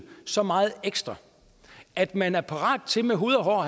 så meget ekstra at man er parat til med hud og hår